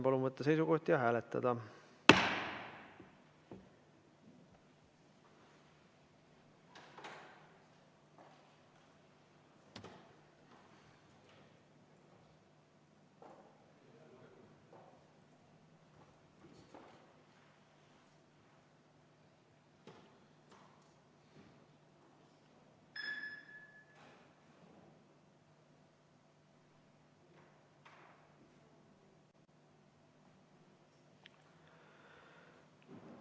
Palun võtta seisukoht ja hääletada!